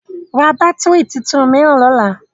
Ra bátìrì tuntun mìíràn lọ́la!